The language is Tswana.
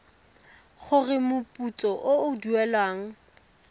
gore moputso o o duelwang